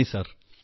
നന്ദി സർ